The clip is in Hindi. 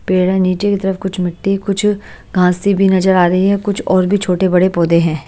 पेड़ है नीचे की तरफ कुछ मिट्टी कुछ घासी भी नजर आ रही है कुछ और भी छोटे बड़े पौधे हैं।